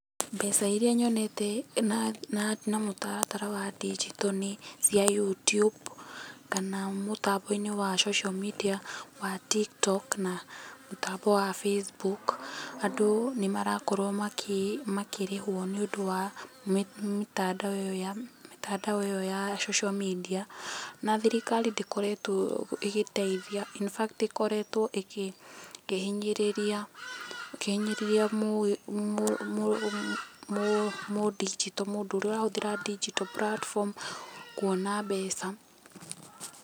Mbeca iria nyonete na mũtaratara wa ndinjito nĩ cia Youtube, kana mũtambo-inĩ wa social media wa TikTok na mũtambo wa Facebook. Andũ ni marakorwo makĩrĩhwo nĩ ũndũ wa mĩtandao ĩyo ya social media, na thirikari ndĩkoretwo ĩgĩteithia, infact ĩkoretwo ĩkĩhinyĩrĩrĩa mũndinjito, mũndũ ũrĩa ũrahũthĩra ndinjito platform kuona mbeca.